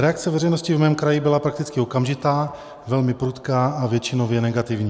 Reakce veřejnosti v mém kraji byla prakticky okamžitá, velmi prudká a většinově negativní.